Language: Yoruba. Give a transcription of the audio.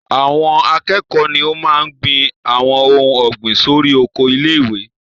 Àwọn akẹ́kọ̀ọ́ ni o máa n gbin àwọn ohun ọ̀gbìn sórí oko ilé-ìwé